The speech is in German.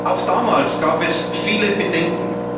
Auch damals gab es viele Bedenken.